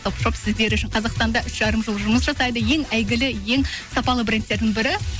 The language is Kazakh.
топ шоп сіздер үшін қазақстанда үш жарым жыл жұмыс жасайды ең әйгілі ең сапалы брендтердің бірі